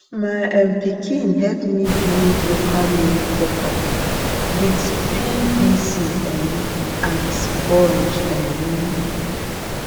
my um pikin help me build local made plucker with pvc um and sponge um